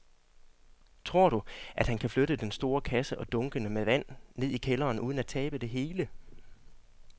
Tror du, at han kan flytte den store kasse og dunkene med vand ned i kælderen uden at tabe det hele?